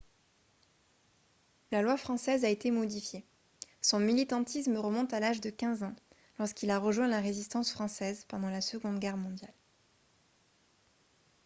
la loi française a été modifiée son militantisme remonte à l'âge de 15 ans lorsqu'il a rejoint la résistance française pendant la seconde guerre mondiale